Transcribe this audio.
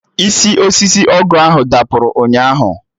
Isi osisi ọgụ ahụ dapụrụ ụnyaahụ